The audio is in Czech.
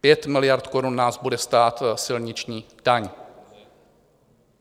5 miliard korun nás bude stát silniční daň.